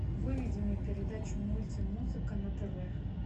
выведи мне передачу мультимузыка на тв